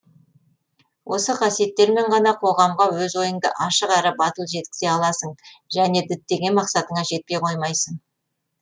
осы қасиеттермен ғана қоғамға өз ойыңды ашық әрі батыл жеткізе аласың және діттеген мақсатыңа жетпей қоймайсың